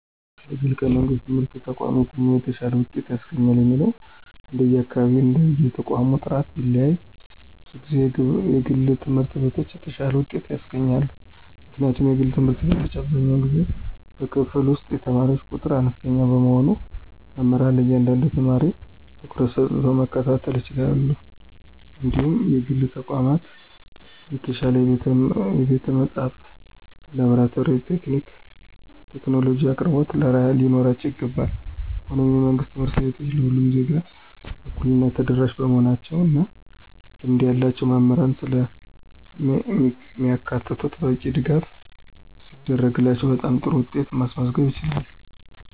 ከግልና ከመንግሥት ትምህርት ተቋማት የትኛው የተሻለ ውጤት ያስገኛል የሚለው እንደየአካባቢውና እንደየተቋሙ ጥራት ቢለያይም፣ ብዙ ጊዜ የግል ትምህርት ቤቶች የተሻለ ውጤት ያስገኛሉ። ምክንያቱም የግል ትምህርት ቤቶች አብዛኛውን ጊዜ በክፍል ውስጥ የተማሪ ቁጥር አነስተኛ በመሆኑ መምህራን ለእያንዳንዱ ተማሪ ትኩረት ሰጥተው መከታተል ይችላሉ እንዲሁም የግል ተቋማት የተሻለ የቤተ-መጻሕፍት፣ የላብራቶሪና የቴክኖሎጂ አቅርቦቶች ሊኖራቸው ይችላል። ሆኖም፣ የመንግሥት ትምህርት ቤቶች ለሁሉም ዜጋ በእኩልነት ተደራሽ በመሆናቸው እና ልምድ ያላቸው መምህራንን ስለሚያካትቱ በቂ ድጋፍ ሲደረግላቸው በጣም ጥሩ ውጤት ማስመዝገብ ይችላሉ።